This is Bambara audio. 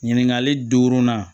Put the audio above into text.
Ɲininkali duurunan